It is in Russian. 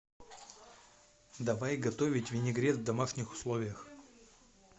давай готовить винегрет в домашних условиях